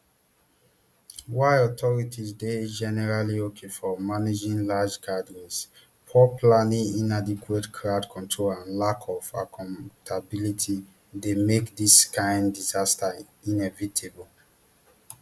while authorities dey generally okay for managing large gatherings poor planning inadequate crowd control and lack of accountability dey make dis kain disasters inevitable